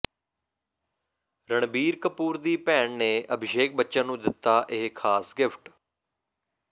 ਰਣਬੀਰ ਕਪੂਰ ਦੀ ਭੈਣ ਨੇ ਅਭਿਸ਼ੇਕ ਬੱਚਨ ਨੂੰ ਦਿੱਤਾ ਇਹ ਖਾਸ ਗਿਫਟ